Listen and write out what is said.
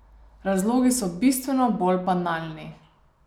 Razlogi so bistveno bolj banalni.